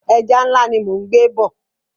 Ẹja ńlá ni mò ń gbé bọ̀.